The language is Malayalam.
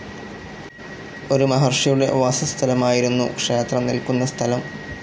ഒരു മഹർഷിയുടെ വാസസ്ഥലമായിരുന്നു, ക്ഷേത്രം നിൽക്കുന്ന സ്ഥലം.